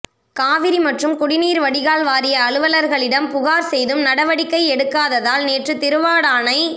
காவிரி மற்றும் குடிநீர் வடிகால் வாரிய அலுவலர்களிடம்புகார் செய்தும் நடவடிக்கை எடுக்காததால் நேற்று திருவாடானை